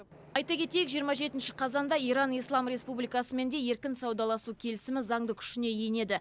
айта кетейік жиырма жетінші қазанда иран ислам республикасымен де еркін саудаласу келісімі заңды күшіне енеді